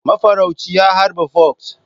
Mafarauci ya harba fox.